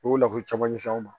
U y'o lafiya caman ɲɛsin an ma